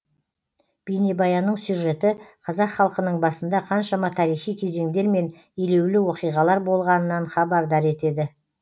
бейнебаянның сюжеті қазақ халқының басында қаншама тарихи кезеңдер мен елеулі оқиғалар болғанынан хабардар етеді